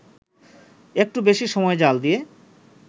একটু বেশি সময় জ্বাল দিয়ে